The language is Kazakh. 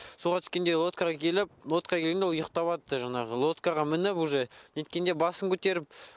суға түскенде лоткаға келіп лоткаға келгенде ол ұйықтаватты жаңағы лоткаға мініп уже неткенде басын көтеріп